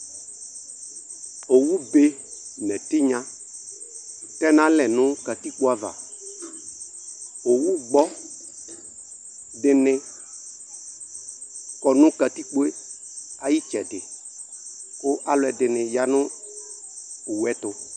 Owube n' ɛtɩnya tɛnalɛ nʋ katikpoava Owugbɔ dɩnɩ kɔ nʋ katikpoe ay'ɩtsɛdɩ, kʋ alʋɛdɩnɩ ya nʋ owueɛtʋ